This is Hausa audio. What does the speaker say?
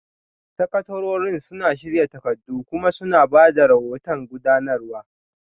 Sakatarorin suna shirya takardu kuma suna ba da rahoton gudanarwa